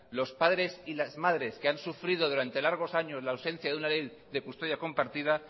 los padres y las madres que han sufrido durante largos años la ausencia de una ley de custodia compartida